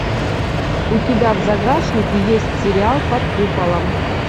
у тебя в загашнике есть сериал под куполом